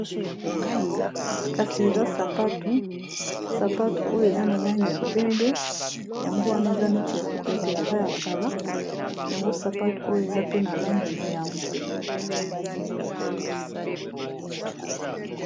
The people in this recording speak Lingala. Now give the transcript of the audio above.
Kasi eza sapatu, sapatu oyo eza na langi ya pembe yango wana eza neti ya ko betela eza ya kala yango sapatu oyo eza pe na langi ya mbwe.